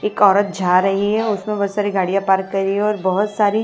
एक औरत जा रही है उसमें बहोत सारी गाड़ियां पार्क करी है और बहोत सारी--